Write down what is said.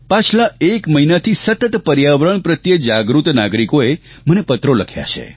પાછલા એક મહિનાથી સતત પર્યાવરણ પ્રત્યે જાગૃત નાગરિકોએ મને પત્રો લખ્યા છે